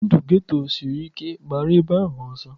Ndụ geto sịrị ike, gbara ebe ahụ ọsọ!